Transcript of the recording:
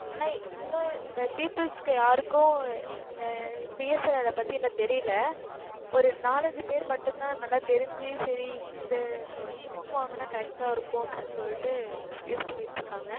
peoples க்கு யாருக்கும், இந்த, BSNL அ பத்தி, எனக்கு தெரியலே. ஒரு நாலஞ்சு பேர் மட்டும்தான், நல்லா தெரிஞ்சு, சரி, இந்த sim வாங்கினா, correct ஆ இருக்கும், அப்படின்னு சொல்லிட்டு, use பண்ணிட்டு இருக்காங்க.